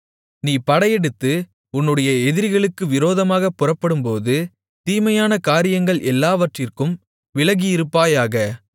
நீ படையெடுத்து உன்னுடைய எதிரிகளுக்கு விரோதமாகப் புறப்படும்போது தீமையான காரியங்கள் எல்லாவற்றிற்கும் விலகியிருப்பாயாக